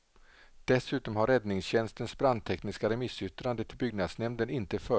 Dessutom har räddningstjänstens brandtekniska remissyttrande till byggnadsnämnden inte följts.